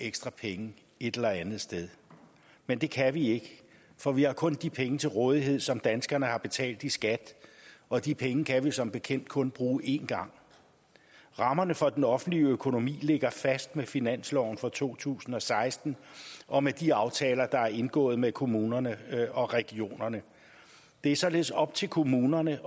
ekstra penge et eller andet sted men det kan vi ikke for vi har kun de penge til rådighed som danskerne har betalt i skat og de penge kan vi som bekendt kun bruge én gang rammerne for den offentlige økonomi ligger fast med finansloven for to tusind og seksten og med de aftaler der er indgået med kommunerne og regionerne det er således op til kommunerne